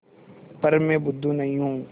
पर मैं बुद्धू नहीं हूँ